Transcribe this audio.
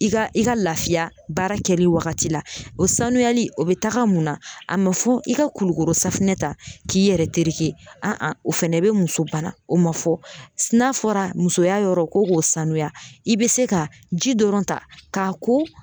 I ka i ka lafiya baara kɛli waagati la, o sanuyali o be taaga mun na, a ma fɔ i ka kulukoro safinɛ ta k'i yɛrɛ tereke an an fɛnɛ bɛ muso bana, o ma fɔ n'a fɔra musoya yɔrɔ ko k'o sanuya i be se ka ji dɔrɔn ta k'a ko.